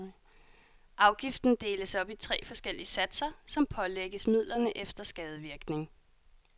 Afgiften deles op i tre forskellige satser, som pålægges midlerne efter skadevirkning.